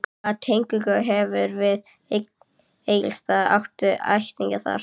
Hvaða tengingu hefurðu við Egilsstaða, áttu ættingja þar?